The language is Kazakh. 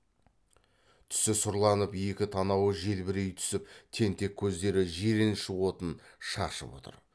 түсі сұрланып екі танауы желбірей түсіп тентек көздері жиреніш отын шашып отыр